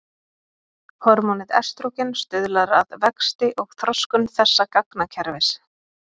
Hormónið estrógen stuðlar að vexti og þroskun þessa gangakerfis.